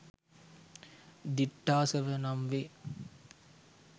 දිට්ඨාසව නම් වේ.